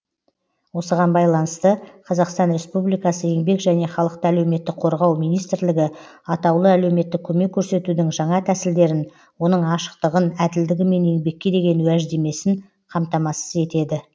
осыған байланысты қазақстан республикасы еңбек және халықты әлеуметтік қорғау министрлігі атаулы әлеуметтік көмек көрсетудің жаңа тәсілдерін оның ашықтығын әділдігі мен еңбекке деген уәждемесін қамтамасыз етеді